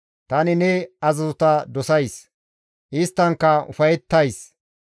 Tani ne azazota dosays; isttankka ufayettays.